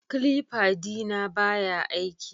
Clipper dina baya aiki